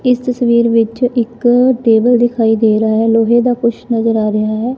ਇਸ ਤਸਵੀਰ ਵਿੱਚ ਇੱਕ ਟੇਬਲ ਦਿਖਾਈ ਦੇ ਰਹਾ ਹੈ ਲੋਹੇ ਦਾ ਕੁਝ ਨਜ਼ਰ ਆ ਰਿਹਾ।